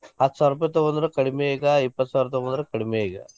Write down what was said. ಹತ್ತ ಸಾವಿರ ರೂಪಾಯಿ ತುಗೊಂಡ್ರು ಕಡಿಮೆ ಈಗಾ ಇಪ್ಪತ್ತ ಸಾವಿರ ತುಗೊಂಡ್ರು ಕಡಿಮೆ ಈಗ.